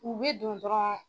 U bɛ don dɔrɔnw